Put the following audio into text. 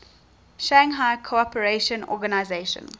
shanghai cooperation organization